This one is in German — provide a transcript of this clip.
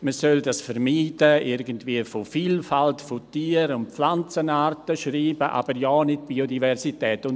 Man solle das vermeiden, irgendwie von Vielfalt, von Tier- und Pflanzenarten schreiben, aber ja nicht «Biodiversität».